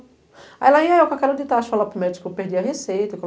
Aí lá ia eu com a cara de tacho e falava para o médico que eu perdi a receita.